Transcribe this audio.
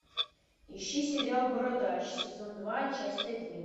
ищи сериал бородач сезон два часть один